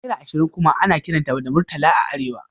Naira ashirin kuma ana kiranta da Murtala a Arewa